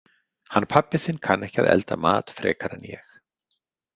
Hann pabbi þinn kann ekki að elda mat frekar en ég.